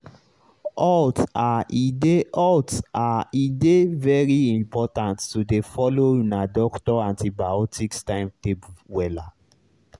halt ahe dey halt ahe dey very important to dey follow una doctor antibiotics timetable wella.